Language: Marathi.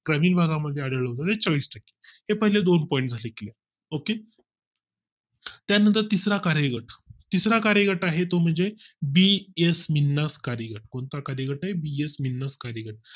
ग्रामीण भागा मध्ये आढळते चाळीस टक्के तर पहिले दोन point OK त्यानंतर तिसरा कार्य तिसरा कार्यगत तिसरा कार्यगट आहे तो म्हणजे हे तो म्हणजे BS मिनास कार्यगत कोणता कार्यगट आहे BS मीनास कार्यगट